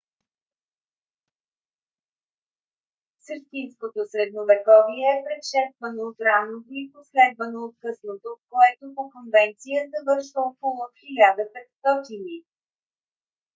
същинското средновековие е предшествано от ранното и последвано от късното което по конвенция завършва около 1500 г